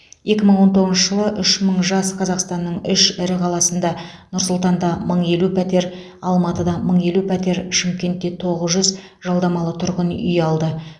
екі мың он тоғызыншы жылы үш мың жас қазақстанның үш ірі қаласында нұр сұлтанда мың елу пәтер алматыда мың елу пәтер шымкентте тоғыз жүз жалдамалы тұрғын үй алды